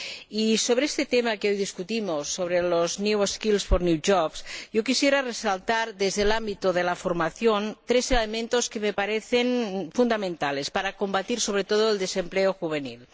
Y, sobre este tema que hoy discutimos, sobre los yo quisiera resaltar, desde el ámbito de la formación, tres elementos que me parecen fundamentales para combatir, sobre todo, el desempleo juvenil.